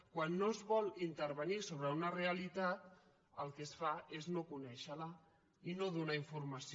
quan no es vol intervenir sobre una realitat el que es fa és no conèixerla i no donarne informació